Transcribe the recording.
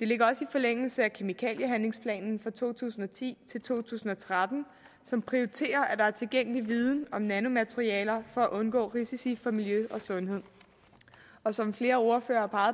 det ligger også i forlængelse af kemikaliehandlingsplan to tusind og ti to tusind og tretten som prioriterer at der er tilgængelig viden om nanomaterialer for at undgå risici for miljø og sundhed og som flere ordførere har